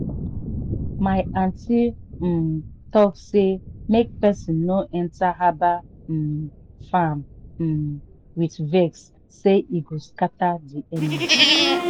my aunty um talk say make person no enter herbal um farm um with vex sey e go scatter the energy.